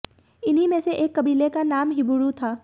इन्हीं में से एक कबीले का नाम हिब्रू था